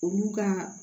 Olu ka